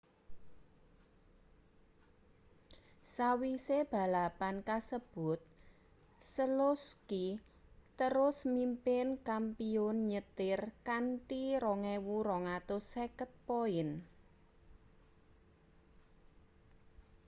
sawise balapan kasebut selowski terus mimpin kampiyun nyetir kanthi 2.250 poin